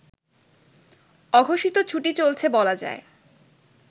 অঘোষিত ছুটি চলছে বলা যায়